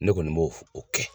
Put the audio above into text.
Ne kɔni b'o o kɛ